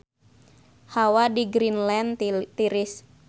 Hawa di Greenland tiris